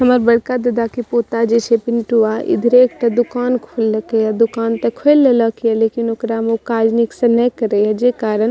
हमार बड़का दादा के पोता जैसे पिंटुआ इधरे एकता दूकान खोलले के दूकान त खोलल लकिन ओकरा में कार्य निक्स न करइ जे कारण --